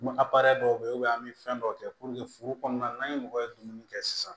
dɔw bɛ yen an bɛ fɛn dɔw kɛ foro kɔnɔna na an ye mɔgɔ ye dumuni kɛ sisan